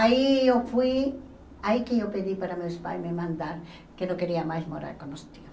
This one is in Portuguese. Aí eu fui, aí que eu pedi para meus pais me mandarem que eu não queria mais morar com os tios.